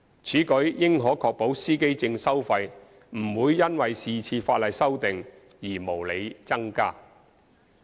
此舉應可確保司機證收費不會因是次法例修訂而無理增加。